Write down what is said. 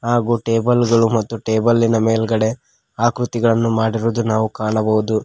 ಹಾಗು ಟೇಬಲ್ ಗಳು ಮತ್ತು ಟೇಬಲ್ಲಿನ ಮೇಲ್ಗಡೆ ಆಕೃತಿಗಳನ್ನು ಮಡಿರುವುದು ನಾವು ಕಾಣಬಹುದು.